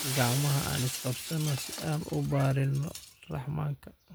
Gacmaxa aan iskabsano si aan uubarino Rahmanka.